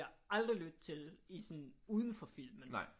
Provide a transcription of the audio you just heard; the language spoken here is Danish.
Aldrig lytte til i sådan udenfor filmen